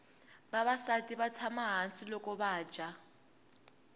vavasati vatsama hhasi lokuvaja